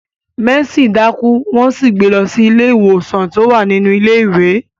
Mercy daku won sì gbé lọ sí ilé ìwòsan ti o wa nínú ilé ìwé.